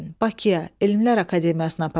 Bakıya, Elmlər Akademiyasına aparacam.